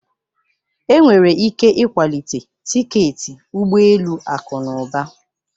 Enwere ike ịkwalite tiketi ụgbọ elu akụ na ụba.